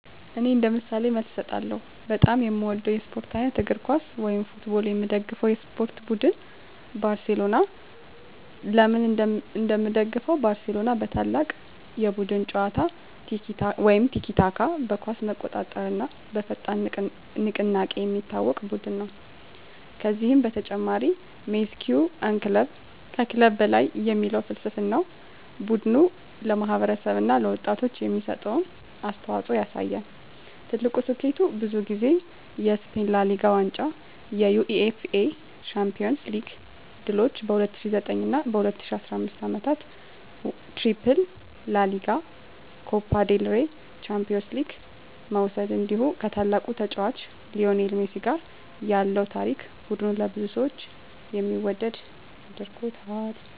እኔ እንደ ምሳሌ መልስ እሰጣለሁ፦ በጣም የምወደው የስፖርት አይነት: እግር ኳስ (Football) የምደግፈው የስፖርት ቡድን: ባርሴሎና (FC Barcelona) ለምን እንደምደግፈው: ባርሴሎና በታላቅ የቡድን ጨዋታ (tiki-taka)፣ በኳስ መቆጣጠር እና በፈጣን ንቅናቄ የሚታወቅ ቡድን ነው። ከዚህ በተጨማሪ “Mes que un club” (ከክለብ በላይ) የሚል ፍልስፍናው ቡድኑ ለማህበረሰብ እና ለወጣቶች የሚሰጠውን አስተዋፅኦ ያሳያል። ትልቁ ስኬቱ: ብዙ ጊዜ የስፔን ላ ሊጋ ዋንጫ የUEFA ቻምፒዮንስ ሊግ ድሎች በ2009 እና 2015 ዓመታት “ትሪፕል” (ላ ሊጋ፣ ኮፓ ዴል ሬይ፣ ቻምፒዮንስ ሊግ) መውሰድ እንዲሁ ከታላቁ ተጫዋች ሊዮኔል ሜሲ ጋር ያለው ታሪክ ቡድኑን ለብዙ ሰዎች የሚወደድ አድርጎታል።